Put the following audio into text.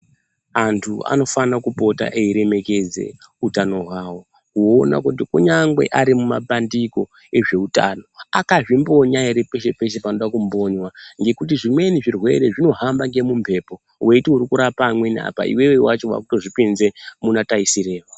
Antu anofana kupota eiremekedze utano hwavo. Kuona kuti kunyangwe ari mumapandiko ezve utano akazvimboya ere peshe-peshe panoda kumbonywa. Ngekuti zvimweni zvirwere zvinohamba ngemumhepo veiti uirikurapa amweni apa iveve vacho veitozvipinze muna taisireva.